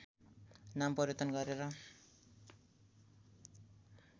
नाम परिवर्तन गरेर